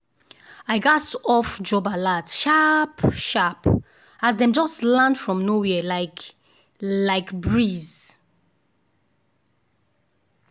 i gats off job alerts sharp-sharp as dem just land from nowhere like like breeze.